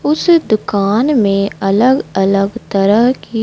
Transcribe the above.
उस दुकान में अलग अलग तरह की--